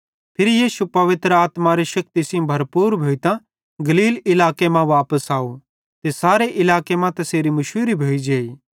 फिरी यीशु पवित्र आत्मारी शेक्ति सेइं भरपूर भोइतां गलील इलाके मां वापस आव ते सारे इलाके मां तैसेरी मुशूरी भोइजेइ